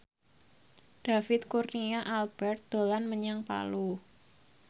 David Kurnia Albert dolan menyang Palu